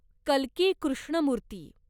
कल्की Krishnamurthy